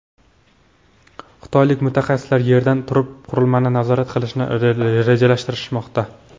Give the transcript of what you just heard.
Xitoylik mutaxassislar Yerdan turib qurilmani nazorat qilishni rejalashtirmoqda.